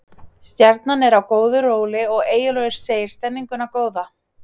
Stjarnan er á góðu róli og Eyjólfur segir stemminguna góða.